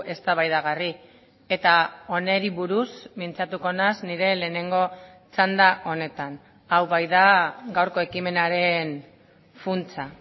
eztabaidagarri eta honi buruz mintzatuko naiz nire lehenengo txanda honetan hau baita gaurko ekimenaren funtsa